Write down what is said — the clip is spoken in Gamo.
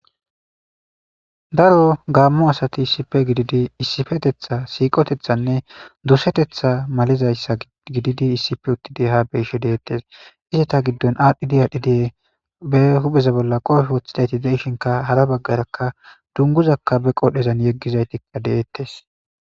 daro gaammu asati issipe gididi issifetetha siiqotethanne dusetetha malizayssa gididi issife uttidi ha beyshe deettes iseta giddon aadhdhi di adhi die be hupheza bolla qoofi woththidayti deishinka hara baggarakka dunguzakka be qodhezan yeggizaytikka deettes